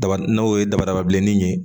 Daba n'o ye dabada bilenmani ye